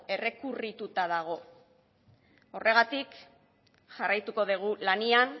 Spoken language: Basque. errekurrituta dago horregatik jarraituko dugu lanean